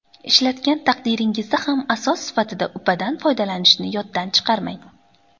Ishlatgan taqdiringizda ham asos sifatida upadan foydalanishni yoddan chiqarmang.